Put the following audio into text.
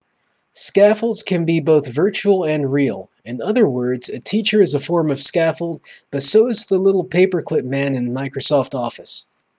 scaffolds can be both virtual and real in other words a teacher is a form of scaffold but so is the little paperclip man in microsoft office